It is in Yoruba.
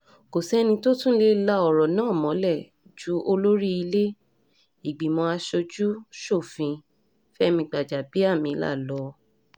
kò sẹ́ni tó tún lè la ọ̀rọ̀ náà mọ́lẹ̀ ju olórí ilé-ìgbìmọ̀ asojú-ṣòfin fẹmi gbàjàbíàmílà lọ